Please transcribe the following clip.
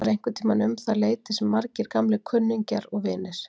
Það var einhverntíma um það leyti sem margir gamlir vinir og kunningjar